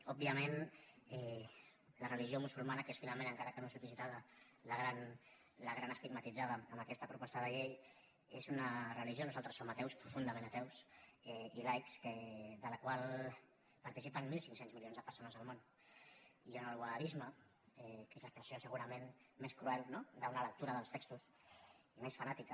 òbviament la religió musulmana que és finalment encara que no surti citada la gran estigmatitzada en aquesta proposta de llei és una religió nosaltres som ateus profundament ateus i laics de la qual participen mil cinc cents milions de persones al món i on el wahhabisme que és l’expressió segurament més cruel no d’una lectura dels textos i més fanàtica